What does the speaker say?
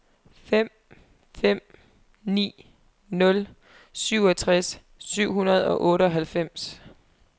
fem fem ni nul syvogtres syv hundrede og otteoghalvfems